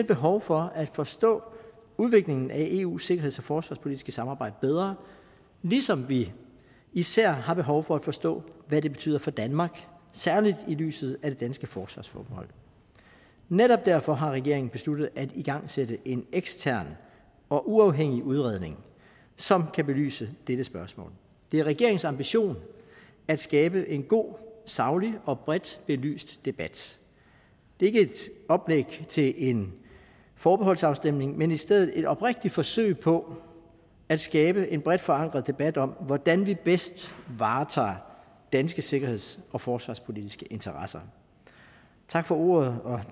behov for at forstå udviklingen af eus sikkerheds og forsvarspolitiske samarbejde bedre ligesom vi især har behov for at forstå hvad det betyder for danmark og særlig i lyset af det danske forsvarsforbehold netop derfor har regeringen besluttet at igangsætte en ekstern og uafhængig udredning som kan belyse dette spørgsmål det er regeringens ambition at skabe en god saglig og bredt belyst debat det er ikke et oplæg til en forbeholdsafstemning men i stedet et oprigtigt forsøg på at skabe en bredt forankret debat om hvordan vi bedst varetager danske sikkerheds og forsvarspolitiske interesser tak for ordet og